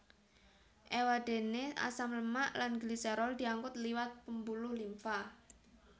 Éwadéné asam lemak lan gliserol diangkut liwat pembuluh limfa